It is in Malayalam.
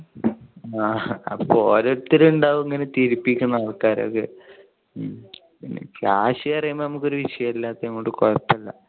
ആ ഓരോരുത്തർ ഉണ്ടാവും ഇങ്ങനെ ചിരിപ്പിക്കണ ആൾക്കാരൊക്കെ. പിന്നെ കാശ് പറയുന്നത് നമുക്ക് ഒരു വിഷയം അല്ലാത്തത് കൊണ്ട് കുഴപ്പം ഇല്ല.